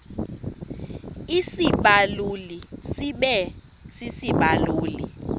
isibaluli sibe sisibaluli